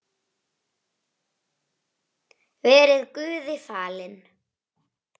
Verið Guði falin.